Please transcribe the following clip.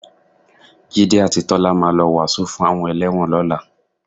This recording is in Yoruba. Jídé àti Tọ́lá máa lọ wàásù fún àwọn ẹlẹ́wọ̀n lọ́la